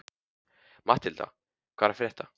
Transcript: Matthilda, hvað er að frétta?